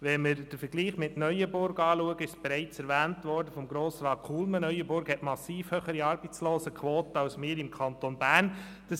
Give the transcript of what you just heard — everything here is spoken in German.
Wenn wir den Vergleich mit Neuenburg betrachten, hat Grossrat Kullmann bereits erwähnt, dass Neuenburg eine massiv höhere Arbeitslosenquote hat als wir im Kanton Bern haben.